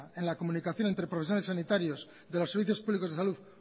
en la comunicación entre profesores sanitarios de los servicios públicos de salud